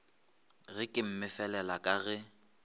ge ke mmefelela ka ge